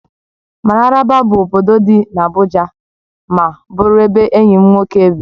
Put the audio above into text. Mararaba bụ obodo dị n'Abuja ma bụrụ ebe enyi m nwoke bi